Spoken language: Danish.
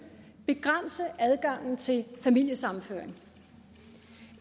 begrænse adgangen til familiesammenføring